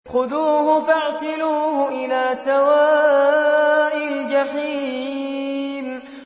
خُذُوهُ فَاعْتِلُوهُ إِلَىٰ سَوَاءِ الْجَحِيمِ